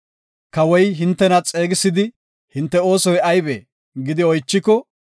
Kawoy hintena xeegisidi, ‘Hinte oosoy aybee?’ gidi oychiko,